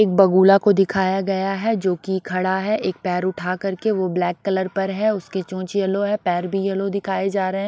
एक बगुला को दिखाया गया है जोकि खड़ा है एक पैर उठा करके वो ब्लैक कलर पर है उसके चोंच येलो है पैर भी येलो दिखाई जा र--